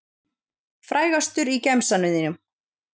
Frægastur í gemsanum þínum?